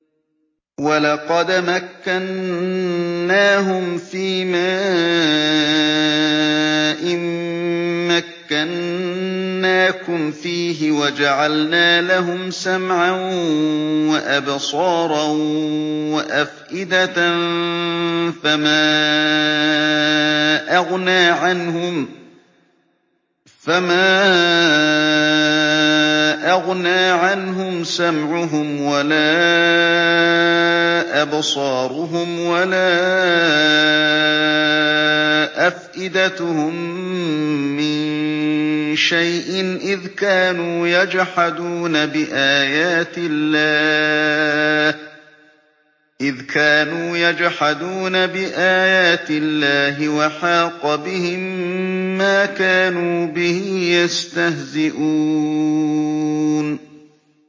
وَلَقَدْ مَكَّنَّاهُمْ فِيمَا إِن مَّكَّنَّاكُمْ فِيهِ وَجَعَلْنَا لَهُمْ سَمْعًا وَأَبْصَارًا وَأَفْئِدَةً فَمَا أَغْنَىٰ عَنْهُمْ سَمْعُهُمْ وَلَا أَبْصَارُهُمْ وَلَا أَفْئِدَتُهُم مِّن شَيْءٍ إِذْ كَانُوا يَجْحَدُونَ بِآيَاتِ اللَّهِ وَحَاقَ بِهِم مَّا كَانُوا بِهِ يَسْتَهْزِئُونَ